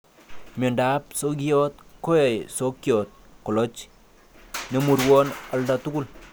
Miondap sokiot koyoe sokyot koloch nemurwon oldatugul.